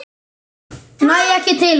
Næ ekki til hans.